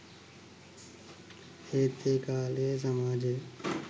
ඒත් ඒ කාලේ සමාජය